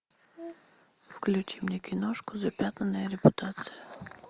включи мне киношку запятнанная репутация